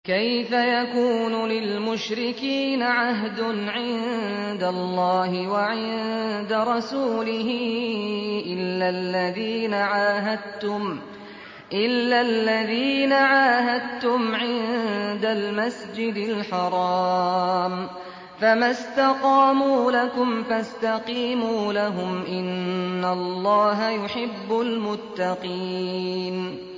كَيْفَ يَكُونُ لِلْمُشْرِكِينَ عَهْدٌ عِندَ اللَّهِ وَعِندَ رَسُولِهِ إِلَّا الَّذِينَ عَاهَدتُّمْ عِندَ الْمَسْجِدِ الْحَرَامِ ۖ فَمَا اسْتَقَامُوا لَكُمْ فَاسْتَقِيمُوا لَهُمْ ۚ إِنَّ اللَّهَ يُحِبُّ الْمُتَّقِينَ